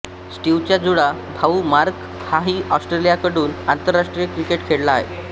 स्टीवचा जुळा भाऊ मार्क हाही ऑस्ट्रेलियाकडून आंतरराष्ट्रीय क्रिकेट खेळला आहे